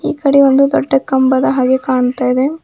ಈಕಡೆ ಒಂದು ದೊಡ್ಡ ಕಂಬದ ಹಾಗೆ ಕಾಣ್ತಾ ಇದೆ.